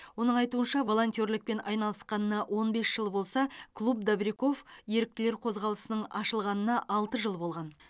оның айтуынша волонтерлікпен айналысқанына он бес жыл болса клуб добряков еріктілер қозғалысының ашылғанына алты жыл болған